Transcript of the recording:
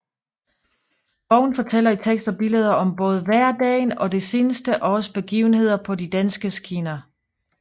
Bogen fortæller i tekst og billeder om både hverdagen og det seneste års begivenheder på de danske skinner